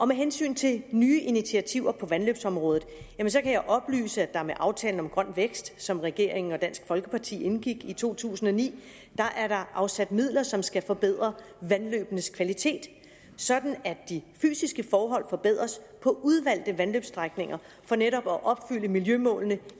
med hensyn til nye initiativer på vandløbsområdet kan jeg oplyse at der med aftalen om grøn vækst som regeringen og dansk folkeparti indgik i to tusind og ni er afsat midler som skal forbedre vandløbenes kvalitet sådan at de fysiske forhold forbedres på udvalgte vandløbsstrækninger for netop at opfylde miljømålene